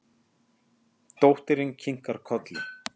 Dóttirin kinkar kolli.